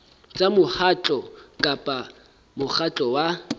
tsa mokgatlo kapa mokgatlo wa